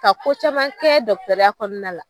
Ka ko caman kɛ kɔnɔna la